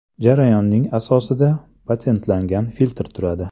Jarayonning asosida patentlangan filtr turadi.